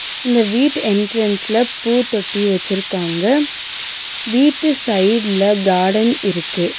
இந்த வீட்டு என்ட்ரன்ஸ்ல பூத்தொட்டி வெச்சிருக்காங்க வீட்டு சைடுல கார்டன் இருக்கு.